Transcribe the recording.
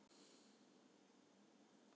Hnúarnir hvítna og það smellur í axlarliðum